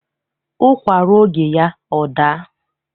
Ụkwa ruo oge ya, ọ daa.